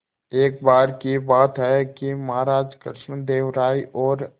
एक बार की बात है कि महाराज कृष्णदेव राय और